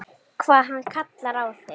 Allar nema Linja.